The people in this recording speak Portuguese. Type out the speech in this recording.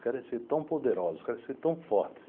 Querem ser tão poderosos, querem ser tão fortes.